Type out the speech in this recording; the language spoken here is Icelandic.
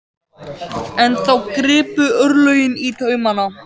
En þá gripu örlögin í taumana.